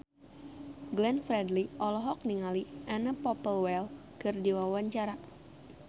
Glenn Fredly olohok ningali Anna Popplewell keur diwawancara